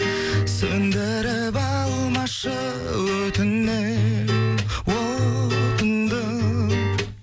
сөндіріп алмашы өтінем отыңды